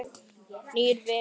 Nýir vinir